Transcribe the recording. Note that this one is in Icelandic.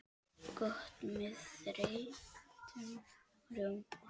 Gott með þeyttum rjóma!